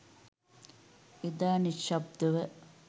එදා නිශ්ශබ්දව